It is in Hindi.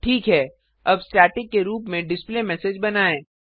ठीक है अब स्टैटिक के रुप में डिस्प्लेमेसेज बनाएँ